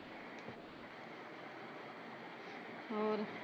ਹੋਰ